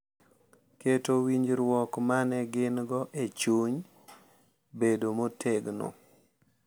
Keto winjruok ma ne gin-go e chuny bedo motegno